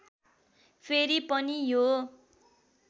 फेरि पनि यो